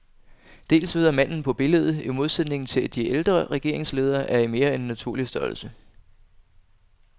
Dels ved at manden på billedet, i modsætning til alle de ældre regeringsledere, er i mere end naturlig størrelse.